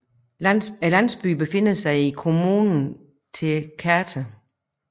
Landsbyen befinder sig i kommunen Tecate